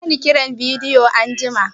Ka kira ni kiran bidiyo anjima!